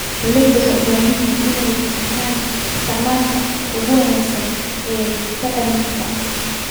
Beeralayda waxay u baahan yihiin inay fahmaan isticmaalka ugu wanaagsan ee bacriminta.